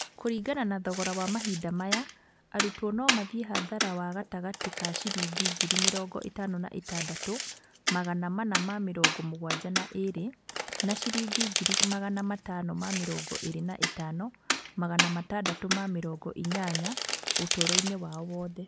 Kũringana na thogora wa mahinda maya, arutwo no mathiĩ hathara wa gatagatĩ ka ciringi ngiri mĩrongo ĩtano na ĩtadatũ, magana mana ma mĩrongo mũgwanja na ĩrĩ na ciringi ngiri magana matano ma mĩrongo ĩrĩ na ĩtano, magana matadatũ ma mĩrongo inyanya ũtũũro-inĩ wao wothe.